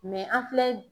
an filɛ